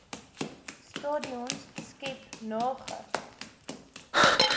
stadions skep nage